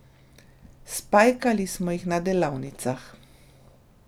Spajkali smo jih na delavnicah.